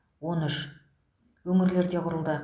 он үш өңірлерде құрылды